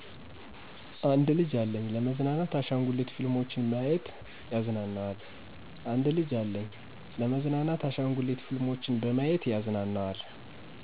አንድ ልጂ አለኝ። ለመዝናናት አሻንጉሊት ፊልሞችን በማዬት ያዝናነዋል።